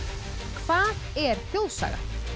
hvað er þjóðsaga a